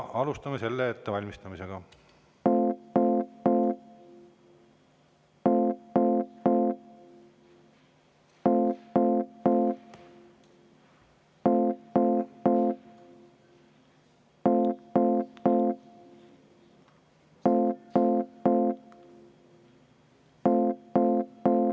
Alustame selle ettevalmistamist.